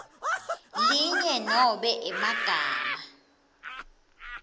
linye nobe emagama